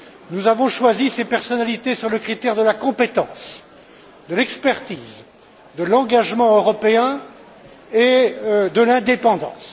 Nous avons choisi ces personnalités sur le critère de la compétence, de l'expertise, de l'engagement européen et de l'indépendance.